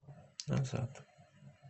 назад